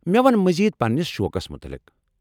مےٚ ووٚن مزید پننِس شوقس مُتلِق۔